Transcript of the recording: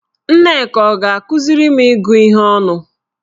Nneka ọ ga-akụziri m ịgụ ihe ọnụ?